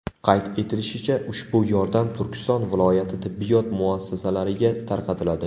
Qayd etilishicha, ushbu yordam Turkiston viloyati tibbiyot muassasalariga tarqatiladi.